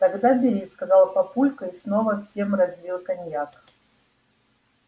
тогда бери сказал папулька и снова всем разлил коньяк